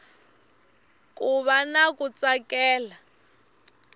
ku va na ku tsakela